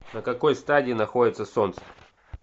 на какой стадии находится солнце